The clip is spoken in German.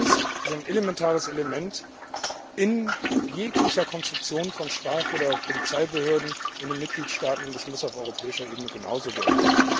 Transparenz ist ein elementares Element in jeglicher Konstruktion von Straf oder Polizeibehörden in den Mitgliedstaaten, und das muss auf europäischer Ebene genauso gelten.